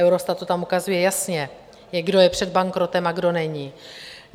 Eurostat to tam ukazuje jasně, kdo je před bankrotem a kdo není.